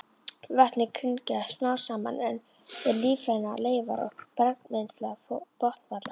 Vötnin grynnka smám saman er lífrænar leifar og bergmylsna botnfalla.